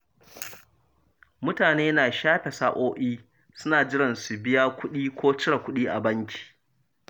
Mutane na shafe sa’o’i suna jiran su biya kuɗi ko cire kudi a banki.